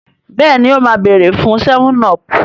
béèni o má beere fun 7up.